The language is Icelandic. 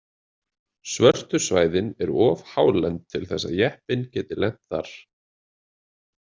Svörtu svæðin eru of hálend til þess að jeppinn geti lent þar.